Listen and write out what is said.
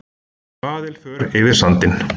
Svaðilför yfir sandinn